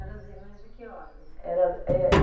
Eram as irmãs de que ordem? Era é